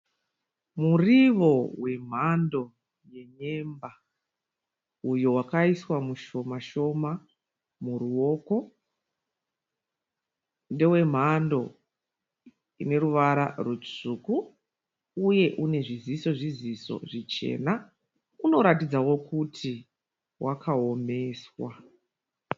Murivo wemhando yenyemba uyo wakaiswa mushoma shoma muruoko ndewemhando ineruvara rutsvuku uye unezviziso zviziso zvichena unoratidzawo kuti wakaoneswa.